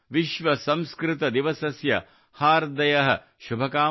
ಸಂಸ್ಕೃತದಿವಸಸ್ಯ ಹಾರ್ದಯಃ ಶುಭಕಾಮನಾಃ